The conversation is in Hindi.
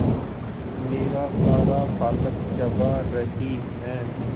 मेरा सारा पालक चबा रही है